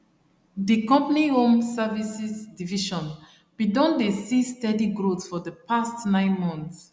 the company home services division been don dey see steady growth for the past 9 months